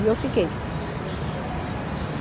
E eu fiquei.